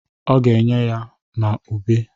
Ọ ga-enye ya ma ube.